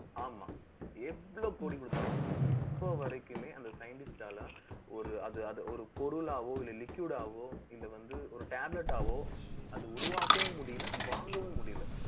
ஆமா. எவ்வளவு கோடி குடுத்தாலும் இப்ப வரைக்குமே, அந்த scientist ஆல ஒரு, அது அது, ஒரு பொருளாவோ, இல்லை liquid ஆவோ இல்ல வந்து, ஒரு tablet ஆவோ, உருவாக்கவும் முடியல வாங்கவும் முடியல